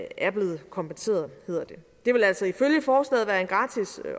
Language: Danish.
er blevet kompenseret hedder det det vil altså ifølge forslaget være en gratis